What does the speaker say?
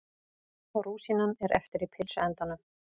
Rúsínan er eftir í pylsuendanum.